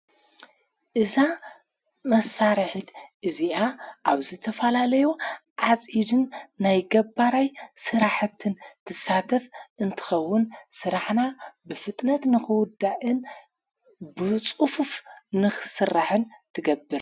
እዛ መሣርሕት እዚኣ ኣብዘ ተፋላለዮ ዓጺድን ናይ ገባራይ ሥራሕትን ትሳተፍ እንትኸውን ሥራሕና ብፍጥነት ንኽዉዳእን ብጹፉፍ ንኽሥራሕን ትገብር።